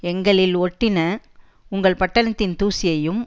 எங்களில் ஒட்டின உங்கள் பட்டணத்தின் தூசியையும்